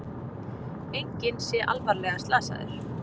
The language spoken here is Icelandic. Enginn sé alvarlega slasaður